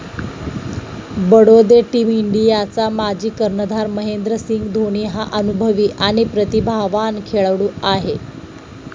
Badode team इंडियाचा माजी कर्णधार महेंद्रसिंग धोनी हा अनुभवी आणि प्रतिभावान खेळाडू आहे.